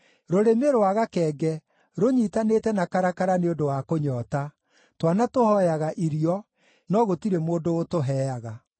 Rũrĩmĩ rwa gakenge rũnyiitanĩte na karakara nĩ ũndũ wa kũnyoota; twana tũhooyaga irio, no gũtirĩ mũndũ ũtũheaga.